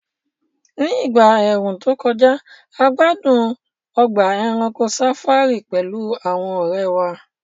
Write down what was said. Ní ìgbà ẹ̀ẹ̀rùn tó kọjá, a gbádùn ọgbà ẹranko safari pẹ̀lú àwọn ọ̀rẹ́ wa